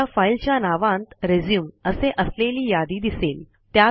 आता फाईलच्या नावांत रिझ्यूम असे असलेली यादी दिसेल